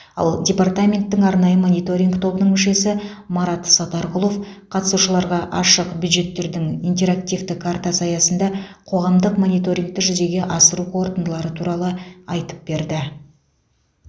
ал департаменттің арнайы мониторинг тобының мүшесі марат сатарқұлов қатысушыларға ашық бюджеттердің интерактивті картасы аясында қоғамдық мониторингті жүзеге асыру қорытындылары туралы айтып берді